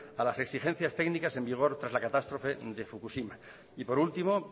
a las exigencias técnicas en vigor tras la catástrofe de fukushima y por último